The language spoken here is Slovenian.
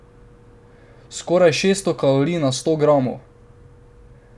Skoraj šeststo kalorij na sto gramov.